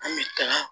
An bɛ taga